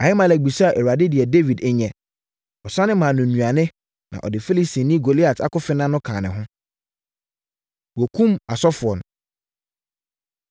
Ahimelek bisaa Awurade deɛ Dawid nyɛ. Ɔsane maa no nnuane, na ɔde Filistini Goliat akofena no kaa ne ho.” Wɔkum Asɔfoɔ No